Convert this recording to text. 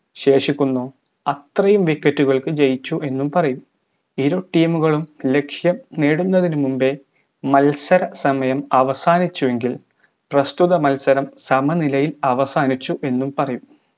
ശേഷിക്കുന്നു അത്രയും wicket കൾക്ക് ജയിച്ചു എന്നും പറയും ഇരു team കളും ലക്ഷ്യം നേടുന്നതിനു മുമ്പേ മത്സര സമയം അവസാനിച്ചു എങ്കിൽ പ്രസ്തുത മത്സരം സമനിലയിൽ അവസാനിച്ചു എന്നും പറയും